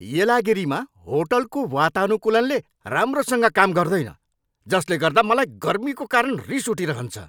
येलागिरीमा होटलको वातानुकूलनले राम्रोसँग काम गर्दैन जसले गर्दा मलाई गर्मीको कारण रिस उठिरहन्छ।